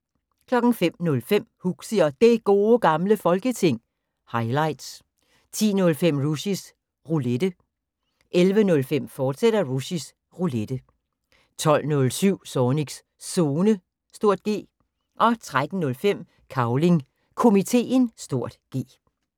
05:05: Huxi og Det Gode Gamle Folketing – highlights 10:05: Rushys Roulette 11:05: Rushys Roulette, fortsat 12:07: Zornigs Zone (G) 13:05: Cavling Komiteen (G)